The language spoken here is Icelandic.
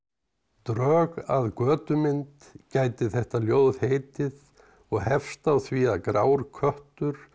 drög að götumynd gæti þetta ljóð heitið og hefst á því að grár köttur